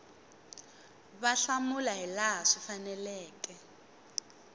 va hlamula hilaha swi faneleke